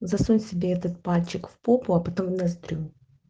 засунь себе этот пальчик в попу а потом в ноздрю